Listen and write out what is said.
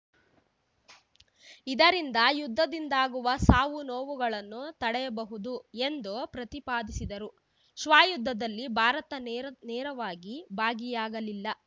ಇದರಿಂದ ಯುದ್ಧದಿಂದಾಗುವ ಸಾವುನೋವುಗಳನ್ನು ತಡೆಯಬಹುದು ಎಂದು ಪ್ರತಿಪಾದಿಸಿದರು ಶ್ವಯುದ್ಧದಲ್ಲಿ ಭಾರತ ನೇರ ನೇರವಾಗಿ ಭಾಗಿಯಾಗಲಿಲ್ಲ